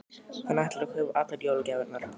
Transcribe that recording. Hann ætlar að kaupa allar jólagjafirnar.